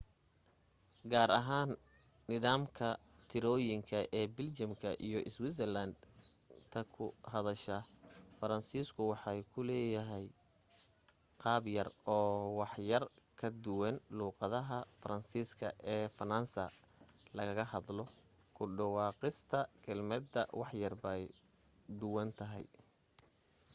gaar ahaan nidaamka tirooyinka ee biljamka iyo switzerland ta ku hadasha faransiisku waxa uu leeyahay qaabyar oo waxyar ka duwan luuqadda faransiiska ee faransa lagaga hadlo ku dhawaaqista kelmadaha waxyar bay duwan tahay